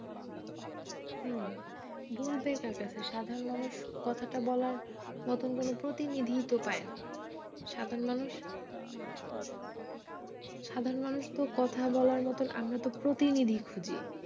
হম বলবে কার কাছে সাধারন মানুষ কথাটা বলার মত কোন প্রতিনিধি তো পায় না সাধারন মানুষ সাধারন মানুষ কথা বলার মত আমরা তো প্রতিনিধি খুজি